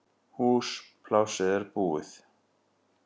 Húsplássið er búið